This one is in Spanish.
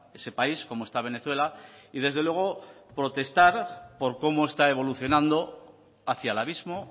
ese país como está venezuela y desde luego protestar por cómo está evolucionando hacia el abismo